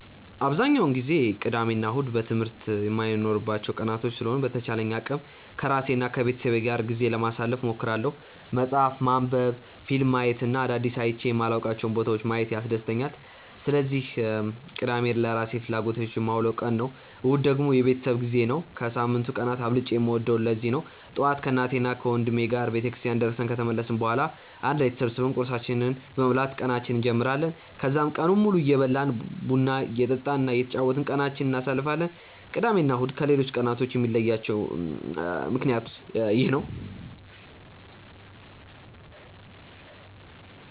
አብዛኛውን ጊዜ ቅዳሜ እና እሁድ ትምህርት የማይኖርባቸው ቀናቶች ስለሆኑ በተቻለኝ አቅም ከራሴ እና ከቤተሰቤ ጋር ጊዜ ለማሳለፍ እሞክራለሁ። መፅሀፍ ማንበብ፣ ፊልም ማየት እና አዳዲስ አይቼ የማላውቃቸውን ቦታዎች ማየት ያስደስተኛል። ስለዚህ ቅዳሜን ለራሴ ፍላጎቶች የማውለው ቀን ነው። እሁድ ደግሞ የቤተሰብ ጊዜ ነው። ከሳምንቱ ቀናት አብልጬ የምወደውም ለዚህ ነው። ጠዋት ከእናቴና ወንድሜ ጋር ቤተክርስቲያን ደርሰን ከተመለስን በኋላ አንድ ላይ ተሰብስበን ቁርሳችንን በመብላት ቀናችንን እንጀምራለን። ከዛም ቀኑን ሙሉ እየበላን፣ ቡና እየጠጣን እና እየተጫወትን ቀናችንን እናሳልፋለን። ቅዳሜ እና እሁድን ከሌሎቹ ቀናቶች የሚለያቸው ምክንያት ይህ ነው።